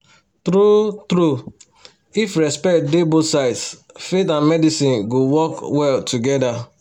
true-true if respect dey both sides faith and medicine go work well together